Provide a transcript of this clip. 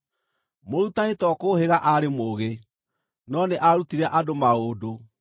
Mũrutani to kũũhĩga aarĩ mũũgĩ, no nĩ aarutire andũ maũndũ.